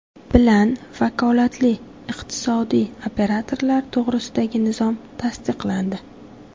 bilan Vakolatli iqtisodiy operatorlar to‘g‘risidagi nizom tasdiqlandi.